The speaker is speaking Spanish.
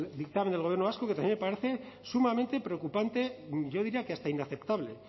dictamen del gobierno vasco que también me parece sumamente preocupante yo diría que hasta inaceptable